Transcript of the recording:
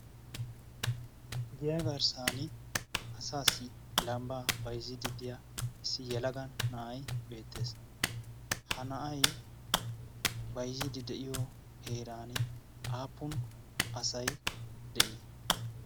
deyaa garssan asaassi lambba baizzididdiyaa issi yalagan na'ay beettees. ha na'ay baizziidi de'iyo heeran aappun asai de'ii?